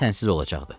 Onda sənsiz olacaqdı.